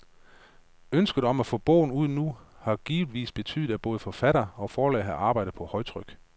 Ønsket om at få bogen ud nu, har givetvis betydet, at både forfatter og forlag har arbejdet på højtryk.